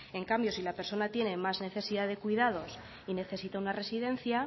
en cambio si la persona tiene más necesidad de cuidados y necesita una residencia